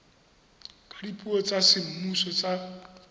ka dipuo tsa semmuso tsa